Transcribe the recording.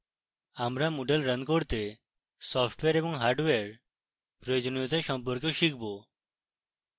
আমরা moodle running করতে software এবং হার্ডওয়্যার প্রয়োজনীয়তা সম্পর্কেও শিখব এবং